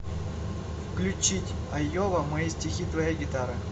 включить айова мои стихи твоя гитара